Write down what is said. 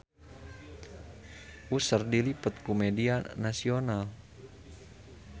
Usher diliput ku media nasional